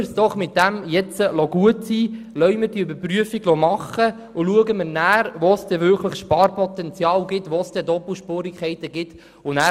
Lassen wir es doch damit bewenden lassen wir diese Überprüfung vornehmen, und schauen wir danach, wo wirklich Sparpotenzial und Doppelspurigkeiten vorhanden sind.